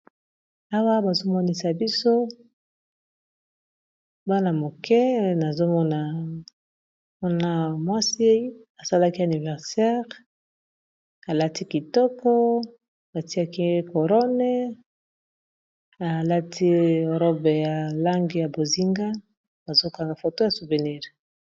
awa bazomonisa biso bana moke nazomona na mwasi asalaki aniversere alati kitoko batiaki corone alati robe ya lange ya bozinga bazokanga foto ya souvenire